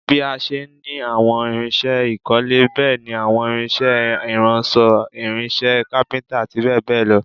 Bí a ṣe ní àwọn irinṣẹ́ ìkọ́lé, bẹ́ẹ̀ ni àwọn irinṣẹ́ ìránṣọ̀, irinṣẹ́ kápíntà, àti bẹ́ẹ̀ bẹ́ẹ̀ lọ